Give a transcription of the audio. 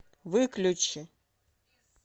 выключи